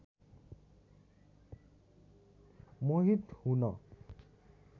मोहित हुन